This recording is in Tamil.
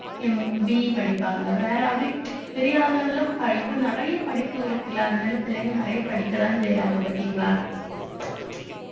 BE படிப்பாங்க வேற அப்படி பெரிய அளவுல இப்ப இப்ப நிறைய படிப்பு இருக்குல்ல அதனால பிள்ளைங்க நிறைய படிக்கதான் செய்யறாங்க பார்த்தீங்களா